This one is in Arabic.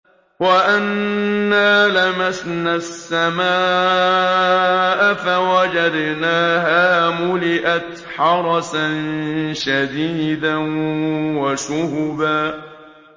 وَأَنَّا لَمَسْنَا السَّمَاءَ فَوَجَدْنَاهَا مُلِئَتْ حَرَسًا شَدِيدًا وَشُهُبًا